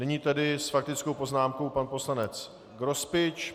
Nyní tedy s faktickou poznámkou pan poslanec Grospič.